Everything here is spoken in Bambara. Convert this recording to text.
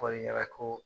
Fɔli ɲɛna ko